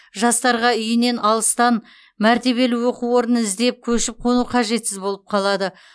жастарға үйінен алыстан мәртебелі оқу орнын іздеп көшіп қону қажетсіз болып қалады